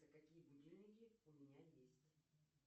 какие будильники у меня есть